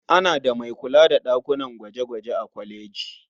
Ana da mai kula da ɗakunan gwaje-gwaje a kwaleji.